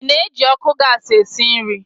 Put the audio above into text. Ị na-eji ọkụ gasi esi nri?